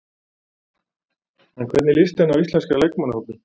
En hvernig líst henni á íslenska leikmannahópinn?